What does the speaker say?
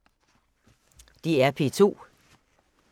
DR P2